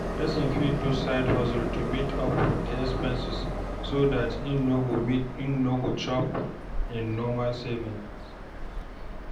Person fit do side hustle to meet up with the expenses so dat im no go chop im normal savings